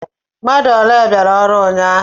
Mmadu ọle biara ọrụ ụnyahụ?